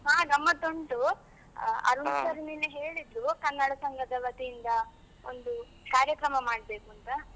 ಹಾ ಗಮ್ಮತ್ತು ಉಂಟು, ಆ ಅರುಣ್ ಸರ್ ನಿನ್ನೆ ಹೇಳಿದ್ರು, ಕನ್ನಡ ಸಂಘದ ವತಿಯಿಂದ ಒಂದು ಕಾರ್ಯಕ್ರಮ ಮಾಡ್ಬೇಕು ಅಂತ.